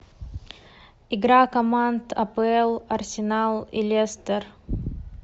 игра команд апл арсенал и лестер